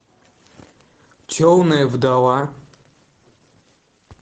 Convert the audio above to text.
темная вдова